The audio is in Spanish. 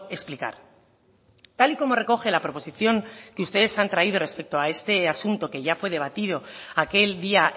explicar tal y como recoge la proposición que ustedes han traído respecto a este asunto que ya fue debatido aquel día